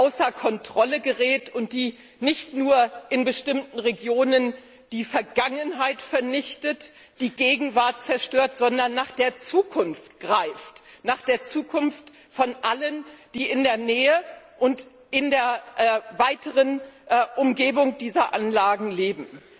außer Kontrolle gerät und nicht nur in bestimmten Regionen die Vergangenheit vernichtet, die Gegenwart zerstört, sondern nach der Zukunft greift, nach der Zukunft von allen, die in der Nähe und in der weiteren Umgebung dieser Anlagen leben.